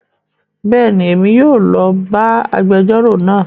Béèni, Èmí yóò lo bá agbẹjọro náà